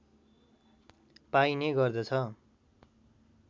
पाइने गर्दछ